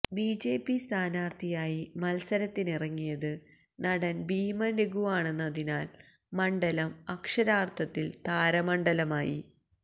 BJP സ്ഥാനാർത്ഥിയായി മത്സരത്തിനിറങ്ങിയത് നടൻ ഭീമൻരഘുവാണെന്നതിനാൽ മണ്ഡലം അക്ഷരാർത്ഥത്തിൽ താരമണ്ഡലമായി